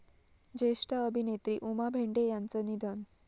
ज्येष्ठ अभिनेत्री उमा भेंडे यांचं निधन